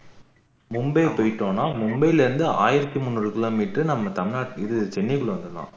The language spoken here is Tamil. மும்பை போயிட்டோம்னா மும்பைல இருந்து ஆயிரத்து முந்நூறு கிலோமீட்டர் நம்ம தமிழநாட்டு இது சென்னைக்கு வந்துரலாம்